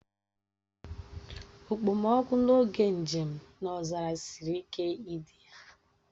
Okpomọkụ n'oge njem n'ọzara siri ike idi ya